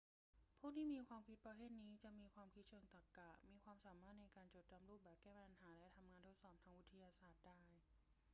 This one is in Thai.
ผู้ที่มีความคิดประเภทนี้จะมีความคิดเชิงตรรกะ มีความสามารถในการจดจำรูปแบบ แก้ปัญหา และทำงานทดสอบทางวิทยาศาสตร์ได้